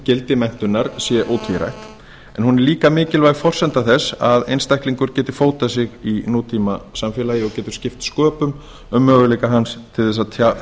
gildi menntunar er ótvírætt en hún er líka mikilvæg forsenda þess að einstaklingur geti fótað sig í nútímasamfélagi og getur skipt sköpum um möguleika hans til að